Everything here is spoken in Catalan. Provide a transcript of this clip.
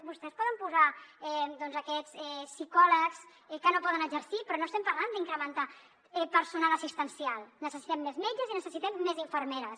vostès hi poden posar doncs aquests psicòlegs que no poden exercir però no estem parlant d’incrementar personal assistencial necessitem més metges i necessitem més infermeres